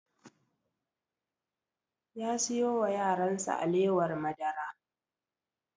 Ya siyo wa yaran sa alewar madara